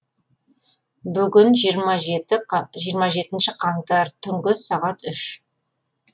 бүгін жиырма жетінші қаңтар түнгі сағат үш